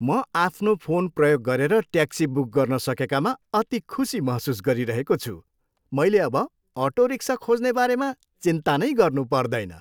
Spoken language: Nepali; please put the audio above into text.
म आफ्नो फोन प्रयोग गरेर ट्याक्सी बुक गर्न सकेकामा अति खुसी महसुस गरिरहेको छु। मैले अब अटो रिक्सा खोज्ने बारेमा चिन्ता नै गर्नुपर्दैन।